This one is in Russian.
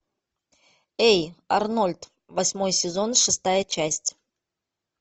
эй арнольд восьмой сезон шестая часть